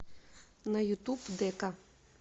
на ютуб дэка